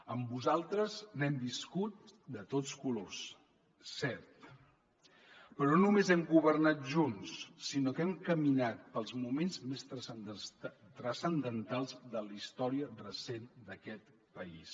amb vosaltres n’hem viscut de tots colors cert però no només hem governat junts sinó que hem caminat pels moments més transcendentals de la història recent d’aquest país